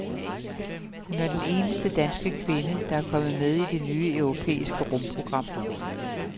Hun er den eneste danske kvinde, der er kommet med i det nye europæiske rumprogram.